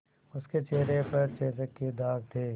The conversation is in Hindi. उसके चेहरे पर चेचक के दाग थे